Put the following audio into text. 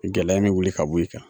Gɛlɛya in me wuli ka bɔ i kan